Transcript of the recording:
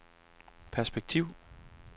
perspektiv